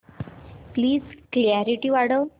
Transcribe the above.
please clarity वाढव